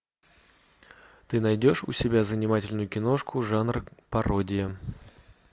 ты найдешь у себя занимательную киношку жанр пародия